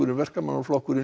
í verkamanna flokknum